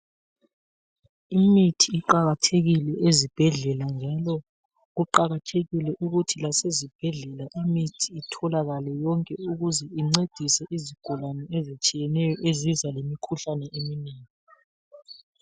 Imithi iqakathekile ezibhedlela njalo kuqakathekile ukuthi lasezibhedlela imithi itholakale yonke ukuze incedise izigulani ezitshiyeneyo eziza lemi imkhuhlane eminengi.